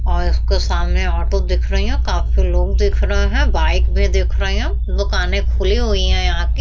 और इसके सामने ऑटो दिख रही हैं काफी लोग दिख रहे है। बाइक भी दिख रही हैं। दुकाने खुली हुई हैं यहाँ की।